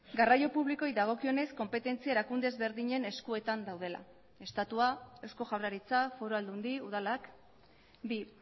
garraio publikoei dagokionez konpetentzia erakunde ezberdinen eskuetan daudela estatua eusko jaurlaritza foru aldundi udalak bi